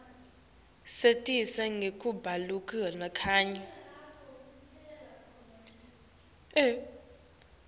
satiswa nangekubaluleka kwayo